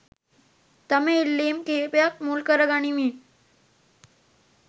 තම ඉල්ලීම් කීපයක් මුල් කරගනිමින්